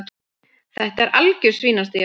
Þetta er algjör svínastía.